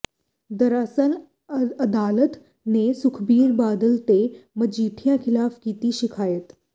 ਦਰਅਸਲ ਅਦਾਲਤ ਨੇ ਸੁਖਬੀਰ ਬਾਦਲ ਤੇ ਮਜੀਠੀਆ ਖਿਲਾਫ਼ ਕੀਤੀ ਸ਼ਿਕਾਇਤ